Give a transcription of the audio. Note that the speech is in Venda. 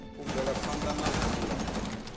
u bvela phanda na dzula